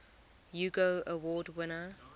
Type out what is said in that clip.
hugo award winner